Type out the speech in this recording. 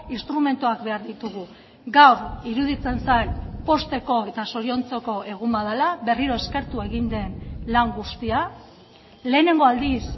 instrumentuak behar ditugu gaur iruditzen zait pozteko eta zoriontzeko egun bat dela berriro eskertu egin den lan guztia lehenengo aldiz